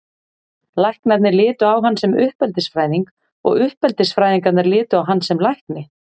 Læknarnir litu á hann sem uppeldisfræðing og uppeldisfræðingarnir litu á hann sem lækni.